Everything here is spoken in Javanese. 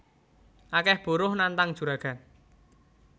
Akeh buruh nantang juragan